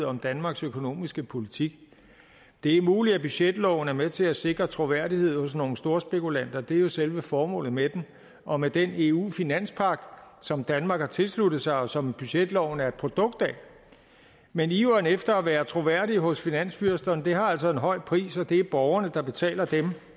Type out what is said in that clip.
om danmarks økonomiske politik det er muligt at budgetloven er med til at sikre troværdighed hos nogle storspekulanter det er jo selve formålet med den og med den eu finanspagt som danmark har tilsluttet sig og som budgetloven er et produkt af men iveren efter at være troværdig hos finansfyrsterne har altså en høj pris og det er borgerne der betaler